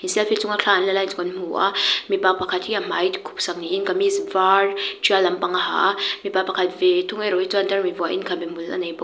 selfie chunga thla an la lai chu kan hmu a mipa pakhat hi a hmai khup sak niin kamis var tial lampang a ha a mipa pakhat ve thung erawh hi chuan tarmit vuahin khabe hmul a nei bawk.